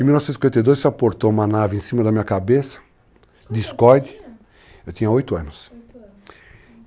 Em 1952 se aportou uma nave em cima da minha cabeça, discoide, quantos anos você tinha? eu tinha 8 anos. 8 anos. Ah.